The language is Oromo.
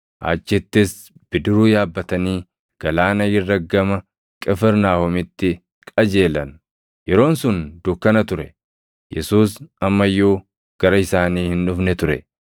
achittis bidiruu yaabbatanii galaana irra gama Qifirnaahomitti qajeelan. Yeroon sun dukkana ture; Yesuus amma iyyuu gara isaanii hin dhufne ture.